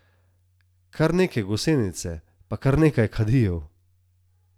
Kar neke gosenice pa kar nekaj kadijo ...